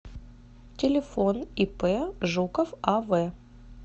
телефон ип жуков ав